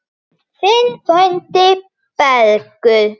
Þinn frændi, Bergur.